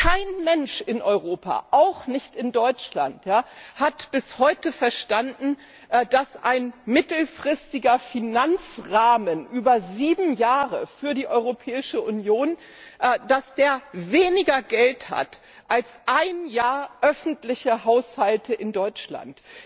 Kein Mensch in Europa, auch nicht in Deutschland, hat bis heute verstanden, dass ein mittelfristiger Finanzrahmen über sieben Jahre für die Europäische Union weniger Geld hat als ein Jahr öffentlicher Haushalte in Deutschland.